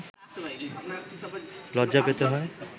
লজ্জা পেতে হয়